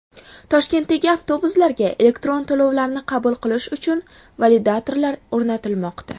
Toshkentdagi avtobuslarga elektron to‘lovlarni qabul qilish uchun validatorlar o‘rnatilmoqda.